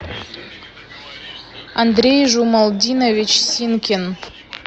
андрей жумалдинович синкин